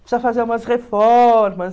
Precisa fazer umas reformas.